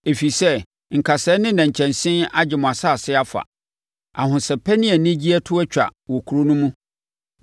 Ɛfiri sɛ nkasɛɛ ne nnɛnkyɛnse agye afa mo asase afa. Ahosɛpɛ ne anigyeɛ to atwa wɔ kuro no mu.